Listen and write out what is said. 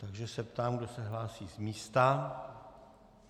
Takže se ptám, kdo se hlásí z místa.